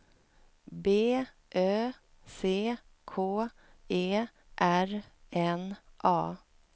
B Ö C K E R N A